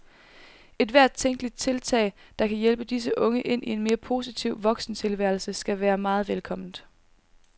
Ethvert tænkeligt tiltag, der kan hjælpe disse unge ind i en mere positiv voksentilværelse, skal være meget velkomment.